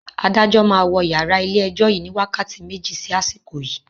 Adájọ́ máa wọ yàrá ilé ẹjọ́ yìí ni wákàtí méjì sí àsìkò yii